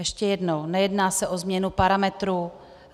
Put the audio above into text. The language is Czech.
Ještě jednou, nejedná se o změnu parametrů.